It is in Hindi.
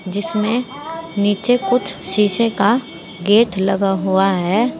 जिसमे नीचे कुछ शीशे का गेट लगा हुआ है।